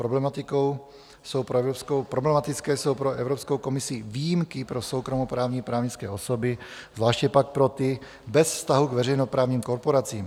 Problematické jsou pro Evropskou komisi výjimky pro soukromoprávní právnické osoby, zvláště pak pro ty bez vztahu k veřejnoprávním korporacím.